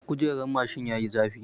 Kujerar mashin yayi zafi.